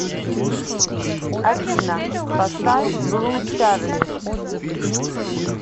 афина поставь блу чарли